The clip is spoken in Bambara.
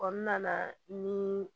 nana ni